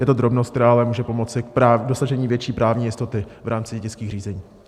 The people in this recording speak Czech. Je to drobnost, která ale může pomoci k dosažení větší právní jistoty v rámci dědických řízení.